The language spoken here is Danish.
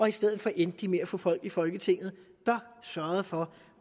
i stedet endte de med at få folk i folketinget der sørgede for